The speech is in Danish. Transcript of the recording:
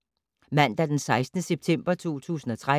Mandag d. 16. september 2013